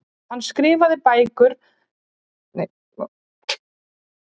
hann skrifaði bæði á ensku og latínu